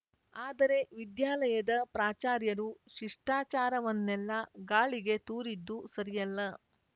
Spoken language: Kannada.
ಆದರೆ ವಿದ್ಯಾಲಯದ ಪ್ರಾಚಾರ್ಯರು ಶಿಷ್ಟಾಚಾರವನ್ನೆಲ್ಲಾ ಗಾಳಿಗೆ ತೂರಿದ್ದು ಸರಿಯಲ್ಲ